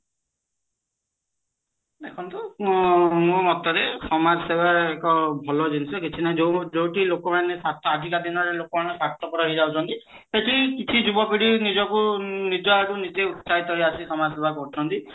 ଦେଖନ୍ତୁ ମ ମୋ ମତରେ ସମାଜସେବା ଏକ ଭଲ ଜିନିଷ ଯୋଉଠି ଲୋକମାନେ ଆଜିକା ଦିନରେ ଲୋକମାନେ ସ୍ଵାର୍ଥପର ହେଇଯାଉଛନ୍ତି ସେଠି କିଛି ଯୁବପିଢି ନିଜକୁ ନିଜଆଡୁ ନିଜେ ଉତ୍ଶ୍ଚାହିତ କରି ସମାଜସେବା କରୁଛନ୍ତି